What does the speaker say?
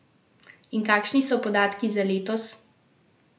In kakšni so podatki za letos?